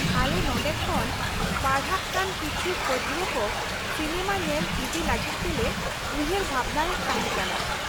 ᱟᱞᱮ ᱱᱚᱰᱮ ᱠᱷᱚᱱ ᱯᱟᱲᱦᱟᱜ ᱠᱟᱱ ᱠᱤᱪᱷᱩ ᱯᱟᱹᱴᱷᱣᱟᱹ ᱠᱚ ᱥᱤᱱᱮᱢᱟ ᱧᱮᱞ ᱤᱫᱤ ᱞᱟᱹᱜᱤᱫ ᱛᱮᱞᱮ ᱩᱭᱦᱷᱟᱹᱨ ᱵᱷᱟᱵᱱᱟᱭᱮᱫ ᱛᱟᱦᱮᱸ ᱠᱟᱱᱟ ᱾